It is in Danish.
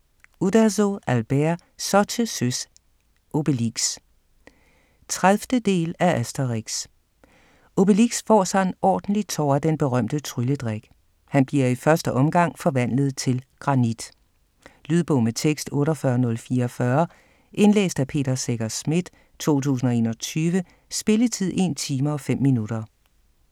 Uderzo, Albert: Så til søs, Obelix! 30. del af Asterix. Obelix får sig en ordentlig tår af den berømte trylledrik. Han bliver i første omgang forvandlet til granit. Lydbog med tekst 48044 Indlæst af Peter Secher Schmidt, 2021. Spilletid: 1 time, 5 minutter.